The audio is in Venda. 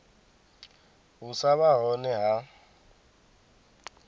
u sa vha hone ha